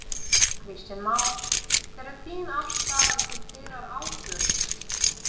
Kristján Már: Hver er þín afstaða til þeirrar ákvörðunar?